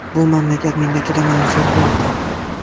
Bu mamlakat menga juda manzur bo‘ldi.